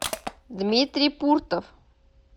дмитрий пуртов